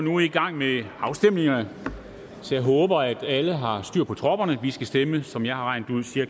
nu i gang med afstemningerne jeg håber at alle har styr på tropperne for vi skal stemme som jeg har regnet